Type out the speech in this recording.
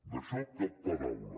d’això cap paraula